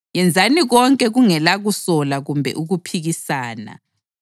Yenzani konke kungela kusola kumbe ukuphikisana